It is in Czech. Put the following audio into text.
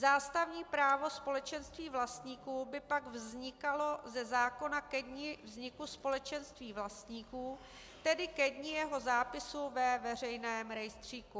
Zástavní právo společenství vlastníků by pak vznikalo ze zákona ke dni vzniku společenství vlastníků, tedy ke dni jeho zápisu ve veřejném rejstříku.